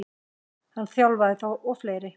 Hann þjálfaði þá og fleiri.